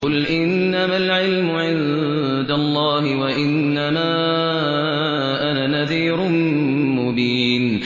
قُلْ إِنَّمَا الْعِلْمُ عِندَ اللَّهِ وَإِنَّمَا أَنَا نَذِيرٌ مُّبِينٌ